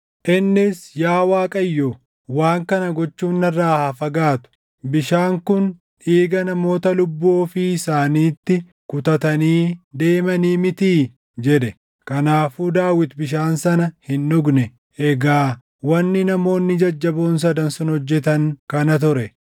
Innis, “Yaa Waaqayyoo, waan kana gochuun narraa haa fagaatu! Bishaan kun dhiiga namoota lubbuu ofii isaaniitti kutatanii deemanii mitii?” jedhe. Kanaafuu Daawit bishaan sana hin dhugne. Egaa wanni namoonni jajjaboon sadan sun hojjetan kana ture.